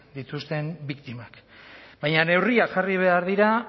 dituzten biktimak baina neurriak jarri behar dira